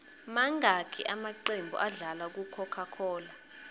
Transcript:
mangaki amaqembu adlala ku cocacola